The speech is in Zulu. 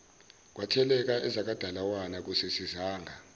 kwatheleka ezakwadalawane akusisizanga